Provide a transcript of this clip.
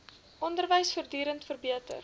onderwys voortdurend verbeter